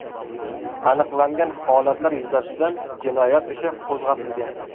Aniqlangan holatlar yuzasidan jinoyat ishi qo‘zg‘atilgan.